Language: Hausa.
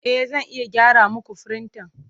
E, Zan iya gyara muku firintan.